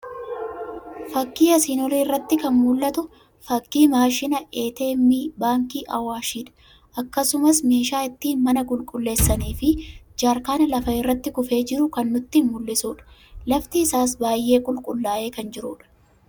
Fakii asiin olii irratti kan mul'atu fakii maashina ATM Baankii Awaashidha. akkasumas meeshaa ittin mana qulqulleessanii fi jaarkaana lafa irratti kufee jiru kan nutti mul'isudha. Lafti isaas baay'ee qulqullaa'ee kan jirudha.